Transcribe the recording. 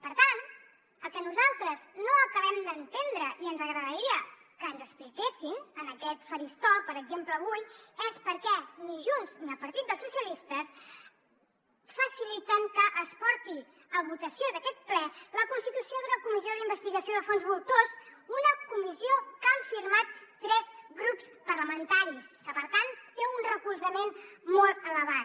per tant el que nosaltres no acabem d’entendre i ens agradaria que ens expliquessin en aquest faristol per exemple avui és per què ni junts ni el partit dels socialistes faciliten que es porti a votació d’aquest ple la constitució d’una comissió d’investigació de fons voltors una comissió que han firmat tres grups parlamentaris que per tant té un recolzament molt elevat